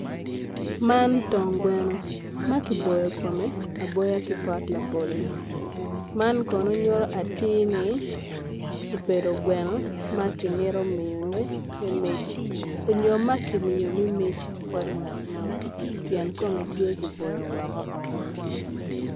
Man twon gweno ma kiboyo kome aboya ki pok labolo man kono nyuto atir ni obedo gweno m ki mito miyone me mic nyo ma kimiyo me mic bot ngat mo pien kome tye kiboyo woko aboya.